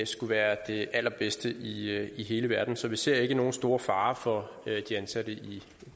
skulle være det allerbedste i i hele verden så vi ser ikke i nogen stor fare for de ansatte i